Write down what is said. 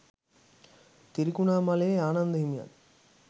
තිරිකුණාමලයේ ආනන්ද හිමියන්